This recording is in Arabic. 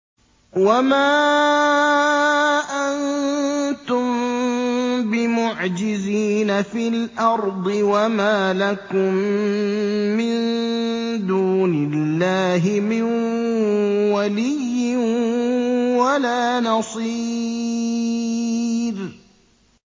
وَمَا أَنتُم بِمُعْجِزِينَ فِي الْأَرْضِ ۖ وَمَا لَكُم مِّن دُونِ اللَّهِ مِن وَلِيٍّ وَلَا نَصِيرٍ